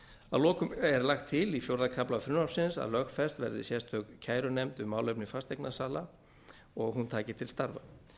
að lokum er lagt til í fjórða kafla frumvarpsins að lögfest verði sérstök kærunefnd um málefni fasteignasala og að hún taki til starfa